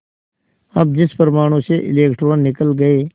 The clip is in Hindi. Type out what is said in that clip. अब जिस परमाणु से इलेक्ट्रॉन निकल गए